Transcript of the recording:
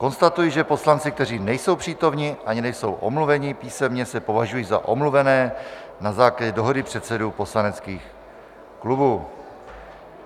Konstatuji, že poslanci, kteří nejsou přítomni ani nejsou omluveni písemně, se považují za omluvené na základě dohody předsedů poslaneckých klubů.